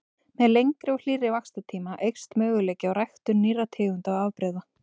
Með lengri og hlýrri vaxtartíma eykst möguleiki á ræktun nýrra tegunda og afbrigða.